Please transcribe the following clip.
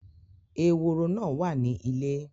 Eworo náà wà ní ilé.